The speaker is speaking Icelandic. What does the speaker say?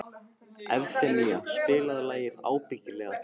Evfemía, spilaðu lagið „Ábyggilega“.